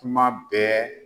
Kuma bɛɛ